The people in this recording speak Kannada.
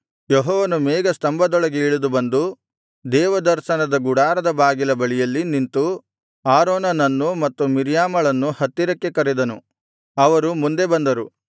ಯೆಹೋವನು ಮೇಘಸ್ತಂಭದೊಳಗೆ ಇಳಿದು ಬಂದು ದೇವದರ್ಶನದ ಗುಡಾರದ ಬಾಗಿಲ ಬಳಿಯಲ್ಲಿ ನಿಂತು ಆರೋನನ್ನು ಮತ್ತು ಮಿರ್ಯಾಮಳನ್ನು ಹತ್ತಿರಕ್ಕೆ ಕರೆದನು ಅವರು ಮುಂದೆ ಬಂದರು